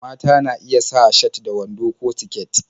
Mata na iya sa shat da wando ko siket